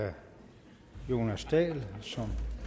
herre jonas dahl som